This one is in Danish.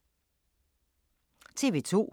TV 2